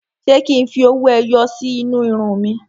Ṣé kí n fi owó ẹyọ sí inú irun mi?